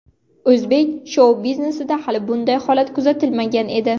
O‘zbek shou-biznesida hali bunday holat kuzatilmagan edi.